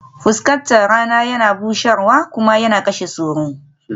Fuskatar rana yana bushewa kuma yana kashe sauro